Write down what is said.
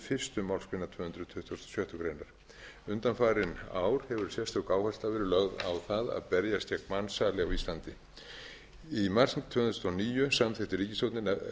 fyrstu málsgrein tvö hundruð tuttugustu og sjöttu greinar undanfarin ár hefur sérstök áhersla verið lögð á það að berjast gegn mansali á íslandi í mars tvö þúsund og níu samþykkti ríkisstjórnin